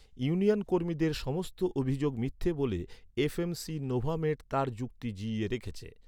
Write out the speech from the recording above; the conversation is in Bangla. ইউনিয়ন কর্মীদের সমস্ত অভিযোগ মিথ্যা বলে এফ.এম.সি নোভামেড তার যুক্তি জিইয়ে রেখেছে।